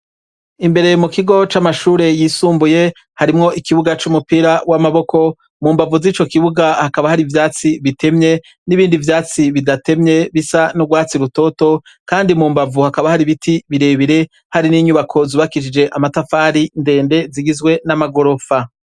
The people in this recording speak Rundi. Imbere mukigo c'amashure yisumbuye harimwo ikibuga c'umupira w'amaboko ,mumbavu zico kibuga hakaba hari ivyatsi bitemye n'ibindi vyatsi bidatemye, bisa n'urwatsi rutoto, kandi mu mbavu hakaba hari biti birebire, n'inyubako zubakishijwe amatafari ndende zigizwe n'amagorofa .